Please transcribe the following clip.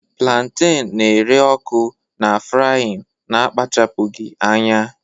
planten na-ere ọkụ na frying na-akpachapụghị anya